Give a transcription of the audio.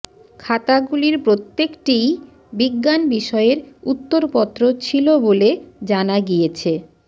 খাতাগুলির প্রত্যেকটিই বিজ্ঞান বিষয়ের উত্তরপত্র ছিল বলে জানা গিয়েছে